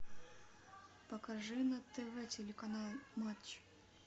покажи на тв телеканал матч